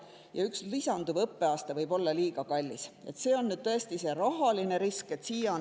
Ja üks lisanduv õppeaasta võib olla liiga kallis – see on nüüd rahaline risk.